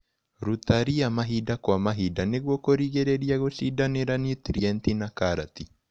Rũta ria mahinda kwa mahinda nĩguo kũrigĩrĩria gũcindanĩra nũtrienti na karati.